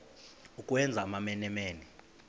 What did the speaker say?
ukwenza amamene mene